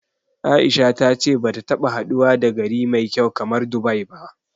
A'isha ta ce bata taɓa haduwa da gari mai kyau kamar Dubai ba.